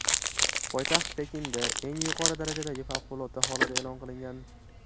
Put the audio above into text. Poytaxt Pekinda eng yuqori darajadagi favqulodda holat e’lon qilingan .